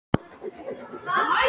Já en Stína, Mangi er. Lilla þagnaði.